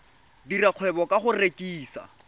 dira kgwebo ka go rekisa